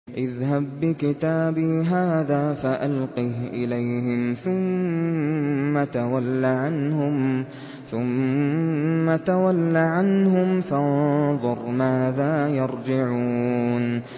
اذْهَب بِّكِتَابِي هَٰذَا فَأَلْقِهْ إِلَيْهِمْ ثُمَّ تَوَلَّ عَنْهُمْ فَانظُرْ مَاذَا يَرْجِعُونَ